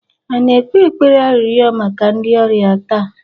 a na-ekpe ekpere arịrịọ maka ndị ọrịa taa?